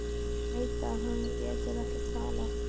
Hún veit að hann getur ekki talað.